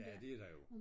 Ja det er der jo